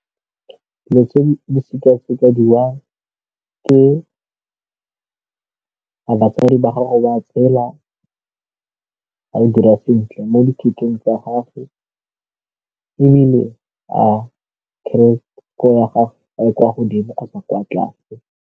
Dilo tse di sekesekiwa ke gore batswadi ba gago ba tshela, a o dira sentle mo dithutong tsa gagwe ebile a credit score ya gago a e kwa godimo kgotsa kwa tlase.